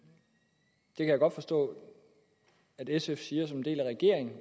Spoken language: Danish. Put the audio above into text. det kan jeg godt forstå at sf siger som en del af regeringen